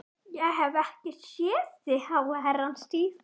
Ég hef ekki séð þig í háa herrans tíð.